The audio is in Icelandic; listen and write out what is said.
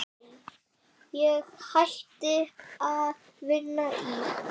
Ég hætti að vinna í